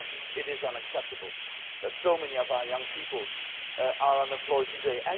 yes, it is unacceptable that so many of our young people are unemployed